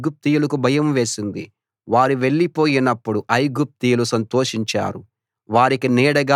వారివలన ఐగుప్తీయులకు భయం వేసింది వారు వెళ్లిపోయినప్పుడు ఐగుప్తీయులు సంతోషించారు